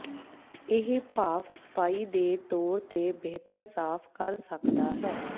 ਇਹ ਭਾਫ ਸਫਾਈ ਦੇ ਤੋਰ ਤੇ ਬਿਹਤਰ ਸਾਫ਼ ਕਰ ਸਕਦਾ ਹੈ